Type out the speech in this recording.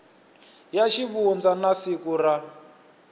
ya xivundza na siku ra